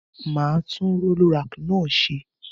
Màá tun roll rack náà se